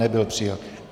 Nebyl přijat.